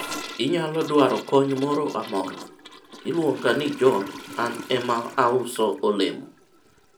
inyalo dwaro kony moro amora? iluonga ni john.an ema auso olemo